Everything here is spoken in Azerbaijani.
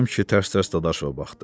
Qasım kişi tərs-tərs Dadaşova baxdı.